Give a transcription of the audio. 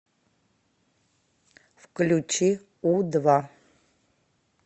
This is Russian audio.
включи у два